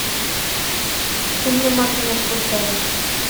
фильмы мартина скорсезе